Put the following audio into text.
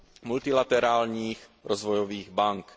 a multilaterálních rozvojových bank.